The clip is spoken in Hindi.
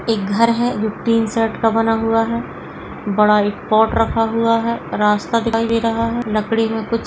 एक घर है जो टीन सेट का बना हुआ है बड़ा एक पॉट रखा हुआ है रास्ता दिखाई दे रहा है लकड़ी में कुछ --